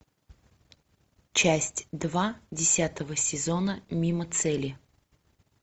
часть два десятого сезона мимо цели